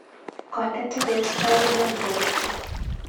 Konde teket tai Bournemouth.